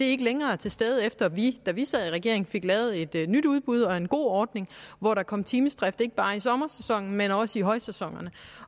ikke længere er til stede efter at vi da vi sad i regering fik lavet et nyt udbud og en god ordning hvor der kom timedrift ikke bare i sommersæsonen men også i højsæsonerne